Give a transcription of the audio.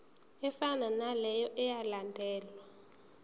efanayo naleyo eyalandelwa